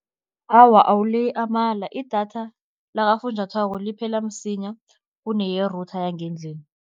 Awa awuleyi amala, idatha lakafunjathwako liphela msinya kuneye-router yangendlini.